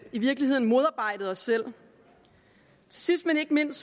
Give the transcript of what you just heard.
i virkeligheden modarbejdet os selv sidst men ikke mindst